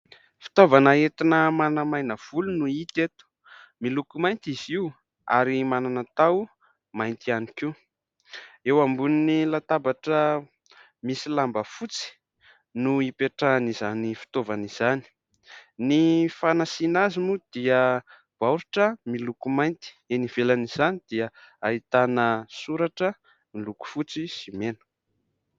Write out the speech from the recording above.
Fitaovana entina manamaina volo no hita eto : miloko mainty izy io ary manana taho mainty ihany koa, eo ambonin'ny latabatra misy lamba fotsy no hipetrahan' izany fitaovana izany, ny fanasiana azy moa dia baoritra miloko mainty eny ivelan' izany dia ahitana soratra miloko fotsy sy mena.